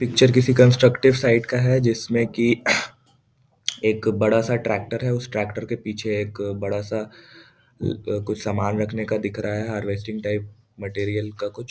Picture किसी constructive site का है जिसमे की एक बड़ा सा ट्रैक्टर है उस ट्रैक्टर के पीछे एक बड़ा सा कुछ सामान रखने का दिख रहा है हार्वेस्टिंग टाइप मटेरियल का कुछ।